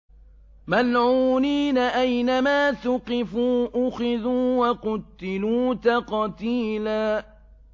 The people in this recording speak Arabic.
مَّلْعُونِينَ ۖ أَيْنَمَا ثُقِفُوا أُخِذُوا وَقُتِّلُوا تَقْتِيلًا